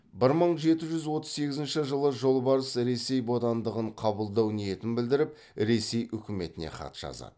бір мың жеті жүз отыз сегізінші жылы жолбарыс ресей бодандығын қабылдау ниетін білдіріп ресей үкіметіне хат жазады